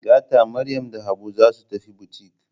Gata Maryam da Habu za su tafi butik.